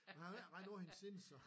Han har ikke rent på hende siden så